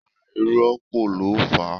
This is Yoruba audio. Àìrópọ́ọ̀ ló fà á.